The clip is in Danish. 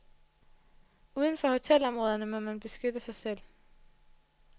Udenfor hotelområderne må man beskytte sig selv.